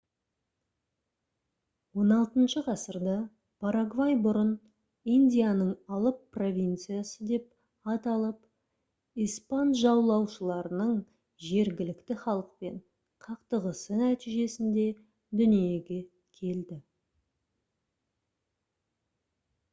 xvi ғасырда парагвай бұрын «индияның алып провинциясы» деп аталып испан жаулаушыларының жергілікті халықпен қақтығысы нәтижесінде дүниеге келді